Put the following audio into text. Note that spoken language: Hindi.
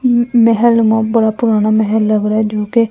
म मेहेल बहुत बडा पुराना महल लग रहा हैं जो की--